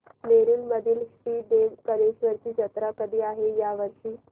नेरुर मधील श्री देव कलेश्वर ची जत्रा कधी आहे या वर्षी